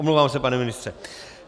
Omlouvám se pane ministře.